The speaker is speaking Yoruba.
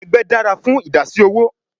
Egbe dara fun idasi owo